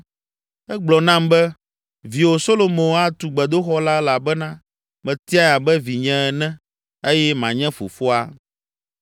Egblɔ nam be, ‘Viwò, Solomo atu gbedoxɔ la elabena metiae abe vinye ene eye manye fofoa.